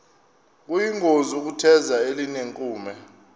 kuyingozi ukutheza elinenkume